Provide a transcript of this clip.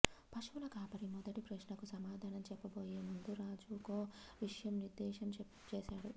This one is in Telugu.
పశువుల కాపరి మొదటి ప్రశ్నకు సమాధానం చెప్పబోయే ముందు రాజుకో విషయం నిర్దేశం చేసాడు